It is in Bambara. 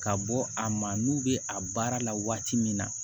Ka bɔ a ma n'u bɛ a baara la waati min na